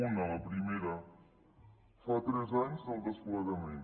una la primera fa tres anys del desplegament